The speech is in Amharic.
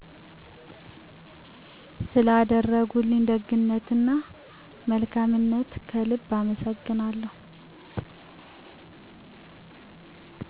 ስለአደረጉልኝ ደግናነት እና መልካምነትዎ ከልብ አመሠግናለሁ።